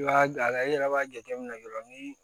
I b'a lajɛ i yɛrɛ b'a jateminɛ dɔrɔn ni